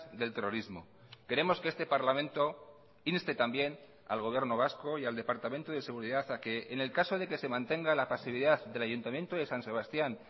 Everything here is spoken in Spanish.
del terrorismo queremos que este parlamento inste también al gobierno vasco y al departamento de seguridad a que en el caso de que se mantenga la pasividad del ayuntamiento de san sebastián